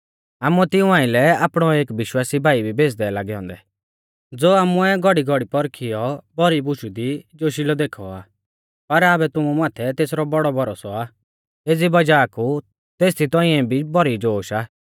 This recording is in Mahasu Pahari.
आमुऐ तिऊं आइलै आपणौ एक विश्वासी भाई भी भेज़दै लागै औन्दै ज़ो आमुऐ घौड़ीघौड़ी पौरखियौ भौरी बुशु दी जोशिलौ देखौ आ पर आबै तुमु माथै तेसरौ बौड़ौ भरोसौ आ एज़ी वज़ाह कु तेसदी तौंइऐ भी भौरी जोश आ